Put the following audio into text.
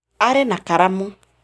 Arĩ na karamu